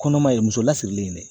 Kɔnɔma ye muso lasirilen ye